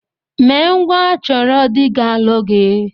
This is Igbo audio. Mee ngwa chọrọ dị ga-alụ gị!